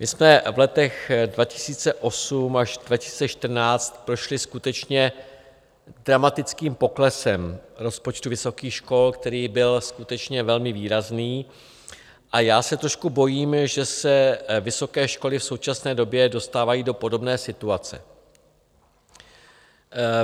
My jsme v letech 2008 až 2014 prošli skutečně dramatickým poklesem rozpočtu vysokých škol, který byl skutečně velmi výrazný, a já se trošku bojím, že se vysoké školy v současné době dostávají do podobné situace.